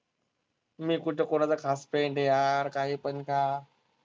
मी कुठं कुणाचा खास friend आहे यार काहीपण का?